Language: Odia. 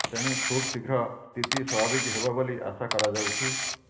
ତେଣୁ ଖୁବ୍ଶୀଘ୍ର ସ୍ଥିତି ସ୍ୱାଭାବିକ ହେବ ବୋଲି ଆଶା କରାଯାଉଛି